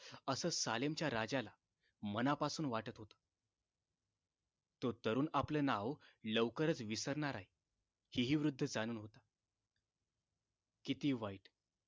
असं सालेमच्या राजाला मनापासून वाटत होत तो तरुण आपले नाव लवकरच विसरणार आहे हे हि वृद्ध जाणून होता किती वाईट